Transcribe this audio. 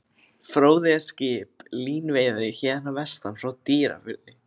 Fróði er skip, línuveiðari héðan að vestan, frá Dýrafirði.